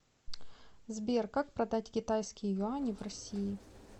сбер как продать китайские юани в россии